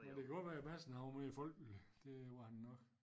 Men det kan godt være at Madsen han var mere folkelig det var han nok